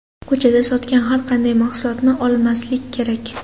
Ko‘chada sotgan har qanday mahsulotni olmaslik kerak.